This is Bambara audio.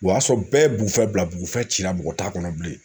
O y'a sɔrɔ bɛɛ ye Bugufɛ bila Bugufɛ cira mɔgɔ t'a kɔnɔ bilen